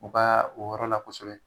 U kaa o yɔrɔ la kosɛbɛ